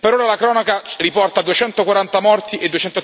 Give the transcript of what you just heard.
Per ora la cronaca riporta 240 morti e